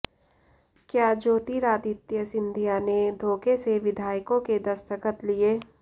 क्या ज्योतिरादित्य सिंधिया ने धोखे से विधायकों के दस्तखत लिए